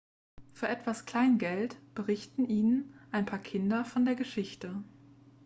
für etwas kleingeld berichten ihnen ein paar kinder von der geschichte